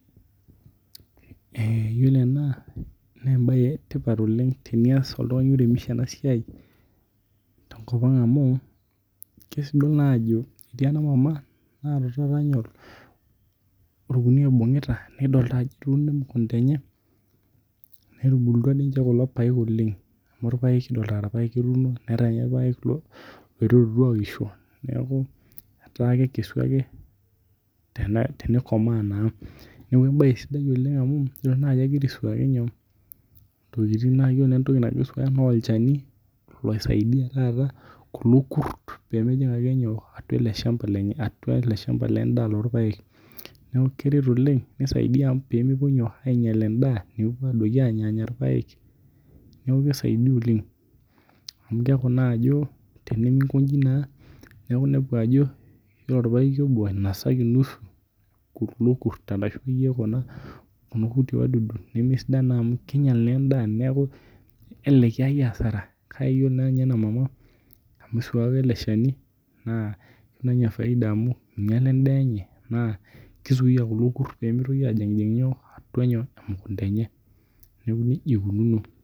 Iyolo inia naa embaye etipat oleng teniyas oltungani oremisho ena siai te nkopang amuu kesipa ajo etii ana maama naa tenijo aing'or, olkuniya eibung'uta nidolita ajo etuuno mukunta enye, netubukutwa ninche kulo paek oleng, amu ilpaeki kidolita aa ilpaeki etuuno, netaa ninye ilpaek loitotrito oshua, naaku etaa kekisu ake teneikomaa naa, naa embaye sidai oleng amuu idol ajo kegira iaisuaki nyoo, ntokitin naa iyolo entoki najii suana olchani loisaidia taata kulo kurutt pemejing' ake inyoom, atua ale ilshamba lenye, atua ale ilshamba le indaa lolpaek, naaku keret oleng, neisaidia pemepuo ainyal endaa, pemepuo aadoki aanya ilpaek, naaku keisaidia oleng, amu keaku naa ajo tenemingonyi naa, naaku iniaou ajo ore olpaeki obo einosoki nusu kulo kurrut ashu ake iyie kutiti ewadudu nemesidai naa amu keinyal naa endaa, naaku elelek naa ekiyaki hasara kake ore naa ninye ena mama amu esuaki ale sheni naa etum ninye faida amuu meinyala endaa enye, naaa keisuuya kulo kurrut pemeitoki aaajing' nyoo, atuia inyoo emukunta enye, naaku neja eikununo.